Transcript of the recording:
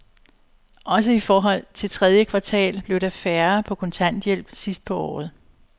Også i forhold til tredje kvartal blev der færre på kontanthjælp sidst på året.